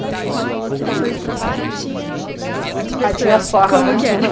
E você falou que depois do trabalho tinha a diversão, tinha as farras, como que era.